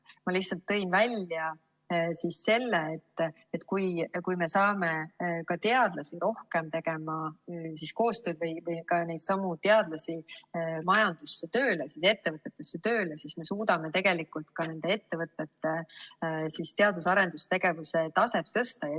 Ma tõin lihtsalt välja selle, et kui me saame teadlasi rohkem koostööd tegema või neidsamu teadlasi majandusse, ettevõtetesse tööle, siis me suudame tegelikult ka nende ettevõtete teadus‑ ja arendustegevuse taset tõsta.